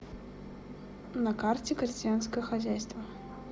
на карте крестьянское хозяйство